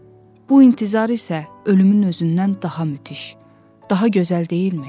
Bu intizar isə ölümün özündən daha müthiş, daha gözəl deyilmi?